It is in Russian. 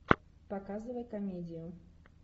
показывай комедию